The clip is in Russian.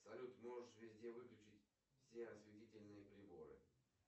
салют можешь везде выключить все осветительные приборы